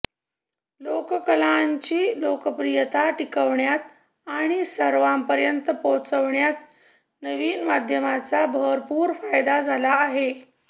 लोककलांची लोकप्रियता टिकवण्यात आणि सर्वांपर्यंत पोहचवण्यात नवीन माध्यमांचा भरपूर फायदा झाला आहे